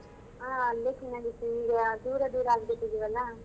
ಆ ಅಲ್ಲೇ ಚೆನ್ನಾಗಿತ್ತು ಈಗ ದೂರ ದೂರ ಆಗ್ಬಿಟಿದಿವಲ್ಲಾ.